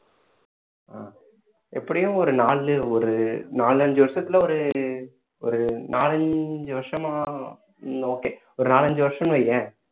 ஆஹ் எப்படியும் ஒரு நாலு ஒரு நாலஞ்சு வருஷத்துல ஒரு ஒரு நாலஞ்சு வருஷமா okay ஒரு நாலஞ்சு வருஷம் வையேன்